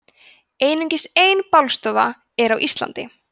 einungis ein bálstofa er á íslandi